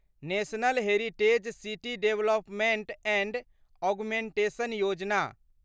national heritage city development and augmentation Yojana